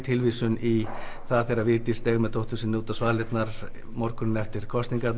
tilvísun í það þegar Vigdís steig með dóttur sinni út á svalirnar morguninn eftir